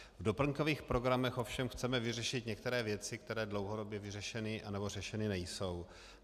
V doplňkových programech ovšem chceme řešit některé věci, které dlouhodobě vyřešeny nebo řešeny nejsou.